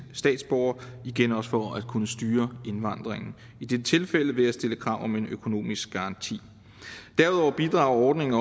statsborgere igen også for at kunne styre indvandringen i dette tilfælde ved at stille krav om en økonomisk garanti derudover bidrager ordningen